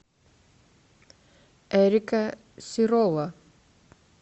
эрика сирола